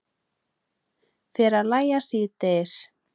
Fer að lægja síðdegis